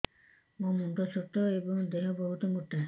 ମୋ ମୁଣ୍ଡ ଛୋଟ ଏଵଂ ଦେହ ବହୁତ ମୋଟା